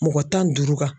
Mɔgɔ tan duuru kan